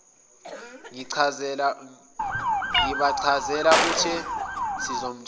ngibachazela uthe sizomthola